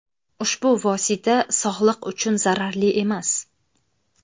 Ushbu vosita sog‘liq uchun zararli emas.